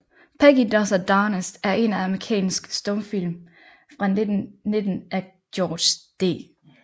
Peggy Does Her Darndest er en amerikansk stumfilm fra 1919 af George D